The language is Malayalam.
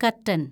കര്‍ട്ടന്‍